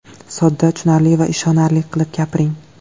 Sodda, tushunarli va ishonarli qilib gapiring.